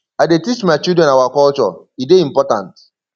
i dey teach my children our culture e dey important